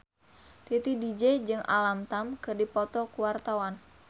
Titi DJ jeung Alam Tam keur dipoto ku wartawan